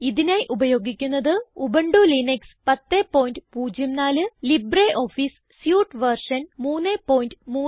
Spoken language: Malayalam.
ഇതിനായി ഉപയോഗിക്കുന്നത് Ubuntu Linux 1004 LibreOffice suite version 334